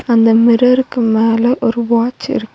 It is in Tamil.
அந்த மிரருக்கு மேல ஒரு வாட்ச் இருக்கு.